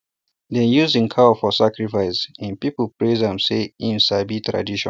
dem use him cow for sacrifice um people praise am say um e sabi tradition